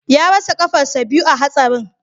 Ya rasa kafarsa biyu a hatsarin